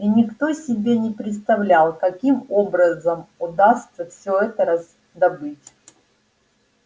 и никто себе не представлял каким образом удастся всё это раздобыть